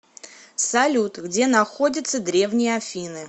салют где находится древние афины